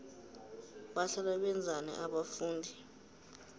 bahlala benzani abafundi